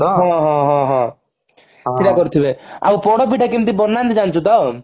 ହଁ ହଁ ହଁ ହଁ ହଁ କରିଥିବେ ଆଉ ପୋଡପିଠା କେମତି କରନ୍ତି ଜାଣିଛୁ ତ